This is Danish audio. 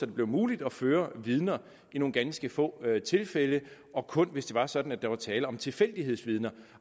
det blev muligt at føre vidner i nogle ganske få tilfælde og kun hvis det var sådan at der var tale om tilfældighedsvidner